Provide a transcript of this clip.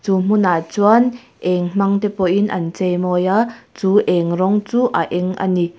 chu hmunah chuan eng hmangte pawhin an chei mawi a chu eng rawng chu a eng a ni.